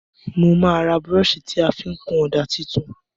Mo má ra brush ti a fi n kun òdà tuntun